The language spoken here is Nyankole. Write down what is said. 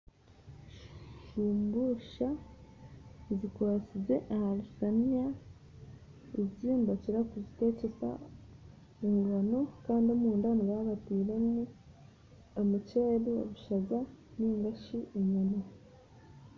Sumbusa zikwatsize aharushaniya ezi nibakira kuzikozesa engano kandi omunda nibaba batairemu omuceeri, obushaza ninga enyama.